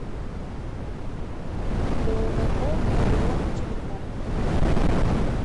ооо орион телеком